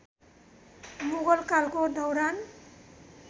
मुगल कालको दौरान